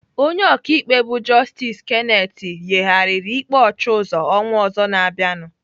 Onye ọkaikpe bụ Justice Kenneth yigharịrị ikpe Ọchịuzo ọnwa ọzọ na-abịanụ.